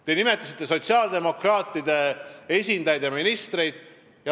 Te nimetasite sotsiaaldemokraatide esindajaid ja ministreid.